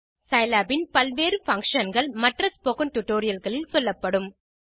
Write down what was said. Scilab இன் பல்வேறு functionகள் மற்ற ஸ்போக்கன் டியூட்டோரியல் களில் சொல்லப்படும்